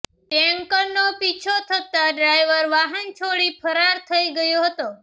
ટેન્કરનો પીછો થતાં ડ્રાયવર વાહન છોડી ફરાર થઈ ગયો હતો